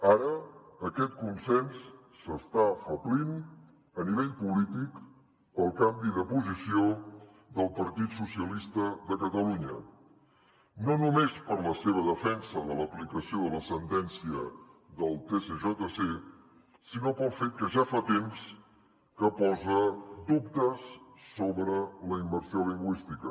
ara aquest consens s’està afeblint a nivell polític pel canvi de posició del partit socialistes de catalunya no només per la seva defensa de l’aplicació de la sentència del tsjc sinó pel fet que ja fa temps que posa dubtes sobre la immersió lingüística